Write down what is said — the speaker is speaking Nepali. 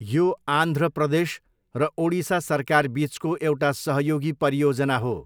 यो आन्ध्र प्रदेश र ओडिसा सरकार बिचको एउटा सहयोगी परियोजना हो।